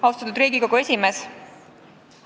Austatud Riigikogu esimees!